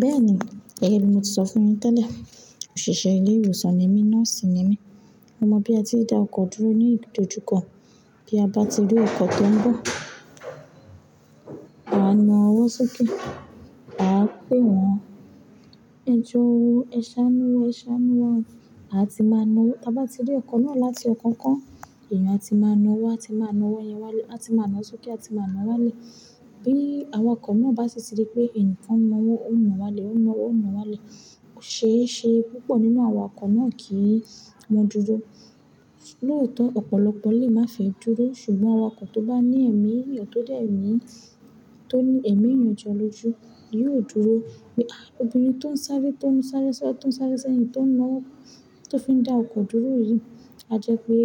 Bẹ́ẹ̀ni, gẹ́gẹ́ bí mo ti sọ fún yin tẹ́lẹ̀, òṣìṣẹ́ ilé ìwòsàn ni mí, nọ́ọ̀sì ni mí. Mo mọ̀ bí a ti dá ọkọ̀ dúró ní ìdojúkọ. Bí a bá ti rí ọkọ̀ tó ń bọ̀, a máa ń naa ọwọ́ sókè. A á pè wọ́n, "ẹ jọ̀ọ́, ẹ ṣáánú, ẹ ṣáánú." A ti máa na wọ́n. Bá ti rí ọkọ̀ náà láti ọkàn kọ́, èèyàn a ti máa na ọwọ́, a ti máa na ọwọ́ yẹn wálé, a ti máa na ọ́ sókè, a ti máa na wálé. Bí àwọn ọkọ̀ náà bá sì ti rí pé ẹnìkan na wo, ó ńa wálé, ó ńa owọ́, ó ń wọ̀ wálé. Ó ṣe é ṣe púpọ̀ nínú àwọn ọkọ̀ náà kì í won dúró. Lóòótọ́ ọ̀pọ̀lọpọ̀ lè má fẹ́ dúró, ṣùgbọ́n àwọn ọkọ̀ tó bá ní ẹ̀mí, èyí tó dẹ̀ mí, tó ní ẹ̀mí ìyànju olójú yóò dúró. Pe a obìnrin tó ń sáré, tó ń sáré sá, tó ń sáré seyin, tó ń nowọ̀ ọ́, tó fi ń dá ọkọ̀ dúró yìí, a jẹ́ pé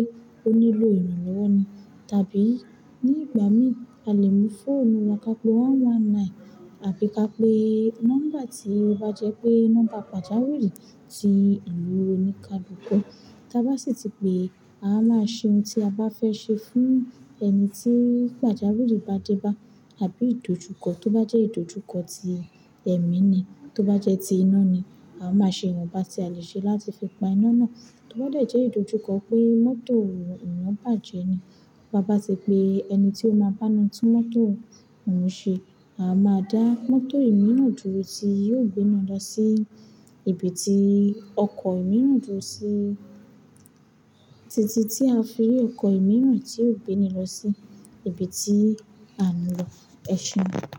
ó nílò ìranlowo ni. Tàbí ní ìgbà mí, a lè mú fóònù wa ká pé ọ̀kan ọ̀kan ẹ̀sán, àbí ká pé nọ́mbà tí ó bá jẹ́ pé nọ́mbà pàjáwìrì ti ìlú oni kàlùn ku. Bá sì ti pé a máa ṣe ohun tí a bá fẹ́ ṣe fún ẹni tí pàjáwìrì bá dé bá. Àbí ìdojúkọ tó bá jẹ́ ìdojúkọ tí ẹ̀mí ni, tó bá jẹ́ ti iná ni, a máa ṣe ohun pàṣẹ a lè ṣe láti fi pa iná náà. Tó bá jẹ́ ìdojúkọ pé mọ́tò eyán bàjẹ́ ni. Bá bá ti pé ẹni tí ó máa bá a tún mọ́tò ìna ṣe, a máa dá mọ́tò ìmíràn dúró tí yóò gbé náà lọ sí ibi tí ọkọ̀ ìmíràn dúró sí. Títí tí a fi eré ọkọ̀ ìmíràn tí yóò gbé ni lọ sí ibi tí à ń lọ. Ẹ ṣéun.